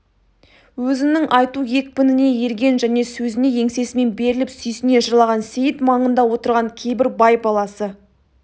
өзінің айту екпініне ерген және сөзіне еңсесімен беріліп сүйсіне жырлаған сейіт маңында отырған кейбір бай баласы